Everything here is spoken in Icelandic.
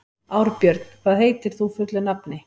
Árbjörn, hvað heitir þú fullu nafni?